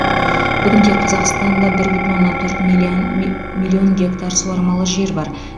бүгінде қазақстанда бір бүтін оннан төрт миллион ми миллион гектар суармалы жер бар